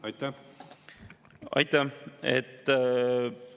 Aitäh!